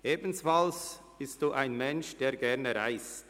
Ebenfalls sind Sie ein Mensch, der gerne reist.